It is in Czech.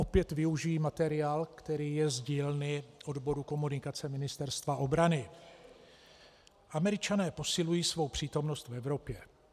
Opět využiji materiál, který je z dílny odboru komunikace Ministerstva obrany: "Američané posilují svou přítomnost v Evropě."